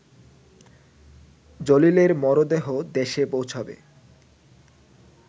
জলিলের মরদেহ দেশে পৌঁছাবে